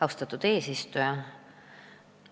Austatud eesistuja!